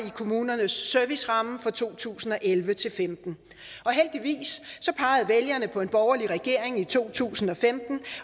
kommunernes serviceramme for to tusind og elleve til femten og heldigvis pegede vælgerne på en borgerlig regering i to tusind og femten